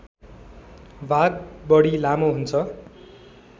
भाग बढी लामो हुन्छ